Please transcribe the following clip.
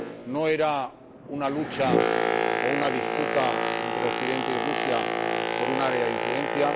no era una lucha o una disputa entre Occidente y Rusia por un área de influencia